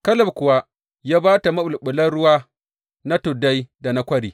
Kaleb kuwa ya ba ta maɓulɓulan ruwa na tuddai da na kwari.